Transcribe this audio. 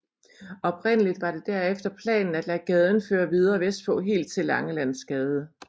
Oprindeligt var det derefter planen at lade gaden føre videre vestpå helt til Langelandsgade